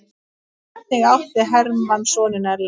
Einnig átti Hermann soninn Ellert.